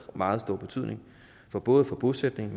meget stor betydning for både bosætning